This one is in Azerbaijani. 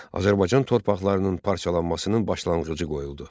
Azərbaycan torpaqlarının parçalanmasının başlanğıcı qoyuldu.